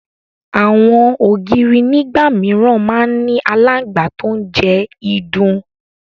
Àwọn ògiri nígbà mìíràn máa ń ní aláǹgbá tó ń jẹ ìdun